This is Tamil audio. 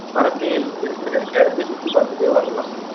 வரக்கயேல் இருக்கிற cash இல் சுத்தி பாத்துட்டு வரலாம்